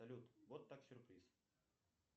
салют вот так сюрприз